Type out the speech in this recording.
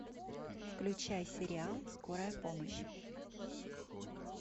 включай сериал скорая помощь